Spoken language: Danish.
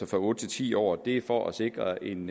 fra otte til ti år og det er for at sikre en